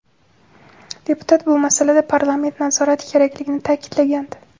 Deputat bu masalada parlament nazorati kerakligini ta’kidlagandi.